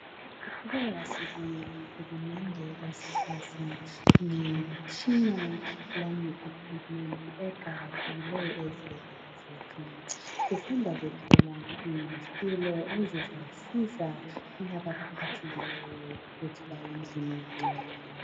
Siqhubeka sibonga uhulumende osihlasa ngemitshina lange equipment eqakathekileyo ezibhedlela zethu. Sisanda kuthola izitulo ezizasiza labo abaphathekileyo ukuthi baye endlini encane.